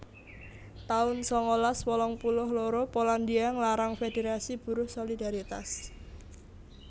taun sangalas wolung puluh loro Polandia nglarang federasi buruh Solidaritas